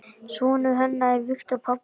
Sonur hennar er Viktor Páll.